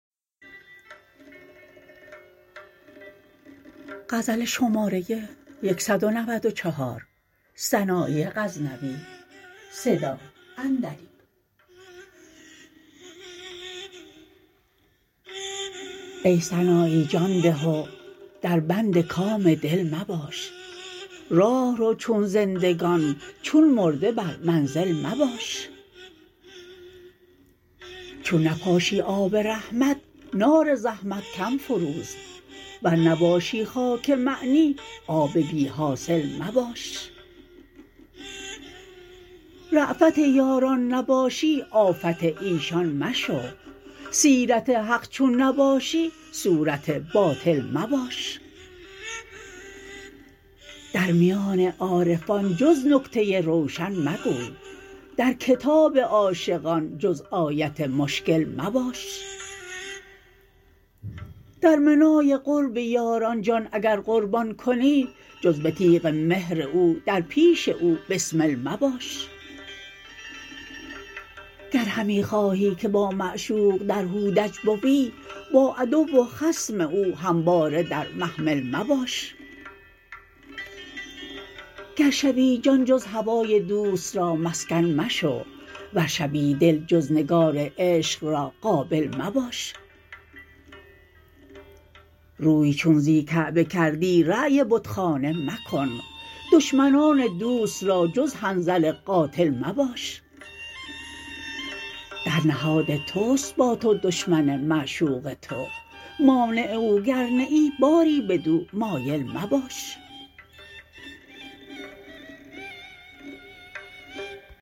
ای سنایی جان ده و در بند کام دل مباش راه رو چون زندگان چون مرده بر منزل مباش چون نپاشی آب رحمت نار زحمت کم فروز ور نباشی خاک معنی آب بی حاصل مباش رافت یاران نباشی آفت ایشان مشو سیرت حق چون نباشی صورت باطل مباش در میان عارفان جز نکته روشن مگوی در کتاب عاشقان جز آیت مشکل مباش در منای قرب یاران جان اگر قربان کنی جز به تیغ مهر او در پیش او بسمل مباش گر همی خواهی که با معشوق در هودج بوی با عدو و خصم او همواره در محمل مباش گر شوی جان جز هوای دوست رامسکن مشو ور شوی دل جز نگار عشق را قابل مباش روی چون زی کعبه کردی رای بتخانه مکن دشمنان دوست را جز حنظل قاتل مباش در نهاد تست با تو دشمن معشوق تو مانع او گر نه ای باری بدو مایل مباش